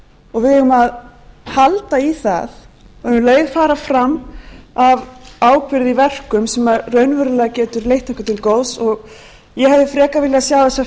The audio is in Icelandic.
og við eigum að halda í það og um leið fara fram af ábyrgð í verkum sem raunverulega geta leitt okkur til góðs ég hefði frekar viljað